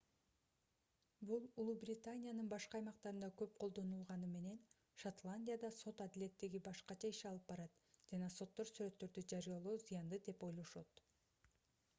бул улуу британиянын башка аймактарында көп колдонулганы менен шотландияда сот адилеттиги башкача иш алып барат жана соттор сүрөттөрдү жарыялоо зыяндуу деп ойлошот